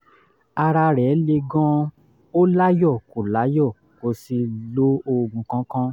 ara rẹ̀ le gan-an ó láyọ̀ kò láyọ̀ kò sì lo oògùn kankan